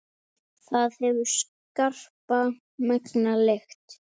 Það hefur skarpa, megna lykt.